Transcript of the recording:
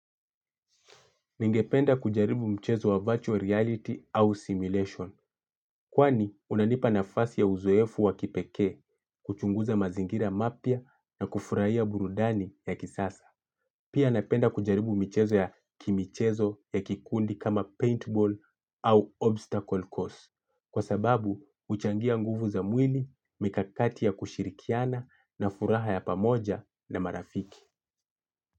Ningependa kujaribu mchezo wa virtual reality au simulation, kwani unanipa nafasi ya uzoefu wa kipekee kuchunguza mazingira mapya na kufurahia burudani ya kisasa. Pia napenda kujaribu michezo ya kimichezo ya kikundi kama paintball au obstacle course kwa sababu huchangia nguvu za mwini, mikakati ya kushirikiana na furaha ya pamoja na marafiki.